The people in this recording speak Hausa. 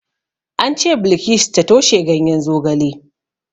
An ce Bilkisu ta toshe ganyen zogale.